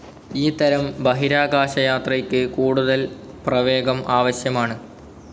ഈ തരം ബഹിരാകാശയാത്രയ്ക്ക് കൂടുതൽ പ്രവേഗം ആവശ്യമാണ്.